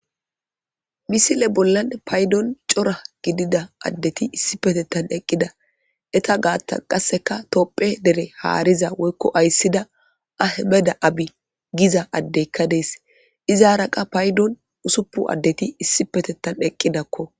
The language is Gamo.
Missile bollan paydon coora gidida addeti issipetethan eqqida eeta gaththan qasseka tophphiya deere haarida woyyko aysida ahimed abbiy gizza addeyka dess izzara qas payddon ussupun addeti issipe eqqidakko.